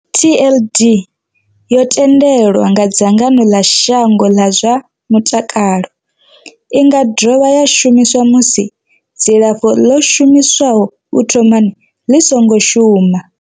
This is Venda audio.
TLD, Tenofovir disoproxil, Lamivudine and dolutegravir, yo themendelwa nga dzangano ḽa shango ḽa zwa mutakalo. I nga dovha ya shumiswa musi dzilafho ḽo shumiswaho u thomani ḽi songo shuma.